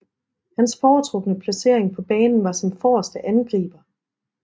Hans foretrukne placering på banen var som forreste angriber